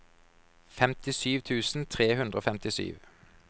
femtisju tusen tre hundre og femtisju